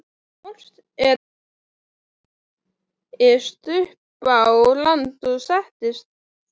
Forsetinn skreiðist upp á land og sest þar á stein.